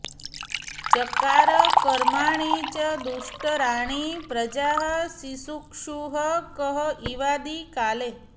चकार कर्माणि च दुष्कराणि प्रजाः सिसृक्षुः क इवादिकाले